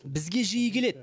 бізге жиі келеді